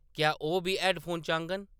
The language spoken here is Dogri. क्या‌ ओह् बी हैड्डफोन चाह्‌ङन ?